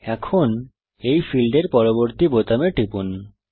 এখন এই ফীল্ডের পরবর্তী বোতামে টিপুন